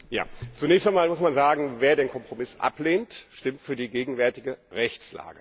Zunächst einmal muss man sagen Wer den Kompromiss ablehnt, stimmt für die gegenwärtige Rechtslage.